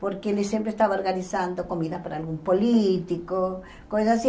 porque eles sempre estavam organizando comida para algum político, coisas assim.